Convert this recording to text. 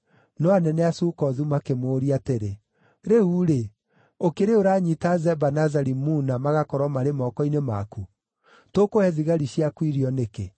No anene a Sukothu makĩmũũria atĩrĩ, “Rĩu-rĩ, ũkĩrĩ ũranyiita Zeba na Zalimuna magakorwo marĩ moko-inĩ maku? Tũkũhe thigari ciaku irio nĩkĩ?”